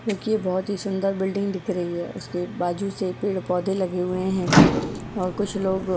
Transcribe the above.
क्योंकि ये बहुत ही सुंदर बिल्डिंग दिख रही है उसके बाजू से पेड़-पौधे लगे हुए हैं और कुछ लोग --